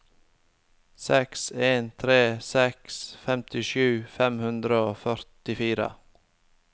seks en tre seks femtisju fem hundre og førtifire